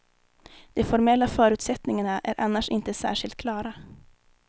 De formella förutsättningarna är annars inte särskilt klara.